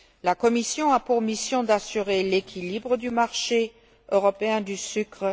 La Commission a pour mission d'assurer l'équilibre du marché européen du sucre.